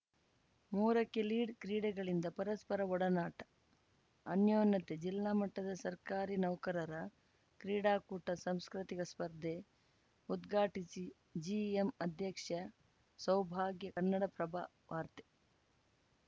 ಮೂರಕ್ಕೆಲೀಡ್‌ಕ್ರೀಡೆಗಳಿಂದ ಪರಸ್ಪರ ಒಡನಾಟ ಅನ್ಯೋನತೆ ಜಿಲ್ಲಾಮಟ್ಟದ ಸರ್ಕಾರಿ ನೌಕರರ ಕ್ರೀಡಾಕೂಟ ಸಾಂಸ್ಕೃತಿಕ ಸ್ಪರ್ಧೆ ಉದ್ಘಾಟಿಸಿ ಜಿಎಂ ಅಧ್ಯಕ್ಷೆ ಸೌಭಾಗ್ಯ ಕನ್ನಡಪ್ರಭ ವಾರ್ತೆ